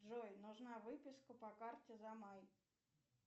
джой нужна выписка по карте за май